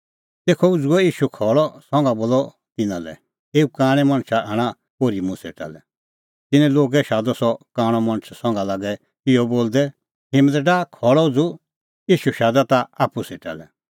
तेखअ उझ़ुअ ईशू खल़अ संघा बोलअ तिन्नां लै एऊ कांणै मणछा आणा ओर्ही मुंह सेटा लै तिन्नैं लोगै शादअ सह कांणअ मणछ संघा लागै इहअ बोलदै हिम्मत डाह खल़अ उझ़ू ईशू शादा ताह आप्पू सेटा लै